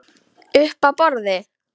Uppi á borði?